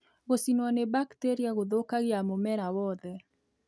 Gũcinwo ni bakteria gũthũkagia mũmera wothe